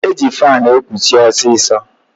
E ji faanụ ekuche ọsịsọ.